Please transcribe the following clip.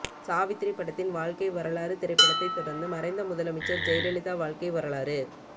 சாவித்திரி படத்தின் வாழ்க்கை வரலாறு திரைப்படத்தை தொடர்ந்து மறைந்த முதலமைச்சர் ஜெயலலிதா வாழ்க்கை வரலாறு